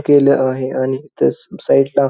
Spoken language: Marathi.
केलं आहे आणि इथ सा साईड ला--